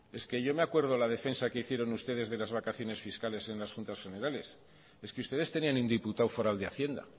es que yo me acuerdo de la defensa que hicieron ustedes de las vacaciones fiscales en las juntas generales es que ustedes tenían un diputado foral de hacienda